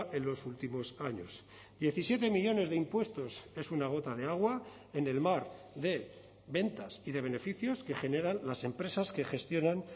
en los últimos años diecisiete millónes de impuestos es una gota de agua en el mar de ventas y de beneficios que generan las empresas que gestionan